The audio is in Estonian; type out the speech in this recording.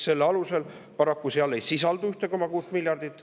Paraku ei sisaldu seal seda 1,6 miljardit.